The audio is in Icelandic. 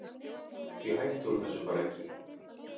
Því hætti hún þessu bara ekki.